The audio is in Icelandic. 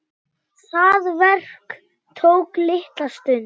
Það verk tók litla stund.